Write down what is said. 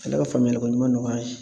Ale ka faamuyali ko ɲuman nɔgɔya an ye.